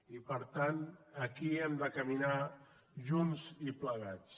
i per tant aquí hem de caminar junts i plegats